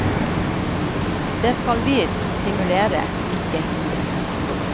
Det skal vi stimulere, ikke hindre.